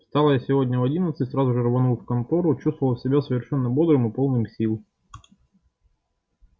встал я сегодня в одиннадцать сразу же рванул в контору чувствовал себя совершенно бодрым и полным сил